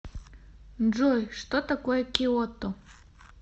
джой что такое киото